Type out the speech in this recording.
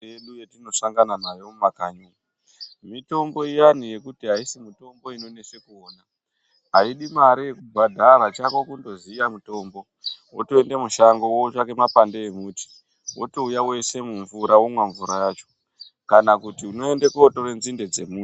Mitombo yedu yatinosanganda nayo mumakanyi umu. Mitombo iya yekuti mitombo inonesa kuona haidi mare yekubhadhara chako kundoziya mutombo. Wotoende mushango wotsvake mapande emuti wotouya woisa mumvura womwa mvura yacho. Kana kuti unoende kotore nzinde dzemuti.